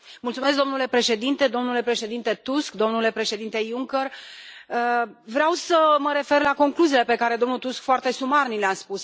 Domnule președinte, domnule președinte Tusk, domnule președinte Juncker, vreau să mă refer la concluziile pe care domnul Tusk foarte sumar ni le a spus.